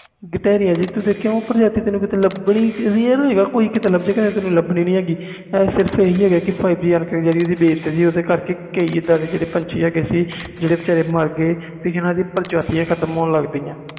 ਘਟਾਰੀਆਂ ਉਹ ਪ੍ਰਜਾਤੀਆਂ ਤੈਨੂੰ ਲਾਬਨੀਆਂ ਨਹੀਂ ਕੋਈ ਕੀਤੇ ਲੈਬ ਜੇ ਗਏ ਨਹੀਂ ਤੇ ਨਹੀਂ ਇਹ five G base ਕਰਕੇ ਇਹਦਾ ਹੋਇਆ ਆ